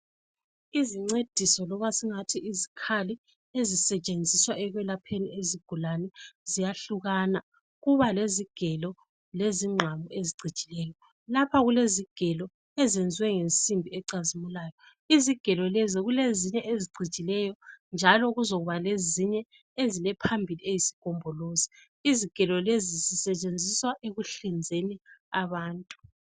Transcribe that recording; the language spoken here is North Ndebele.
Izincediso loba singathi izikhali ezisetshenziswa ekwelapheni izigulane ziyahlukana. Kuba lezigelo lezingqamu ezicijileyo. Lapha kulezigelo ezenziwe ngensimbi ecazimulayo. Izigelo lezo kulezinye ezicijileyo njalo kuzokuba lezinye ezilephambili eyisigombolozi. Uzigelo lezi zisetshenziswa ekuhlinzeni abantu.